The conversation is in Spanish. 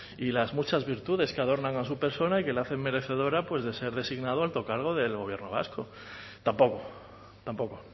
y las muchas virtudes que adornan a su persona y que le hacen merecedora de ser designado alto cargo del gobierno vasco tampoco tampoco